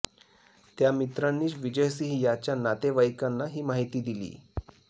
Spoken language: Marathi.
त्या मित्रांनीच विजय सिंह याच्या नातेवाईकांना ही माहिती दिली